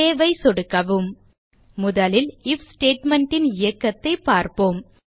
save ஐ சொடுக்கவும் முதலில் ஐஎஃப் ஸ்டேட்மெண்ட் ன் இயக்கத்தைப் பார்ப்போம்